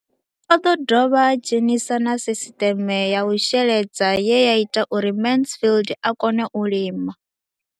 O ḓo dovha a dzhenisa na sisiṱeme ya u sheledza ye ya ita uri Mansfied a kone u lima.